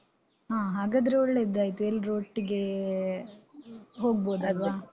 ಹ. ಹಾಗಾದ್ರೆ ಒಳ್ಳೇದಾಯ್ತು. ಎಲ್ರೂ ಒಟ್ಟಿಗೇ ಹೋಗ್ಬೋದಲ್ವ?